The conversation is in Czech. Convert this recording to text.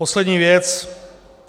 Poslední věc.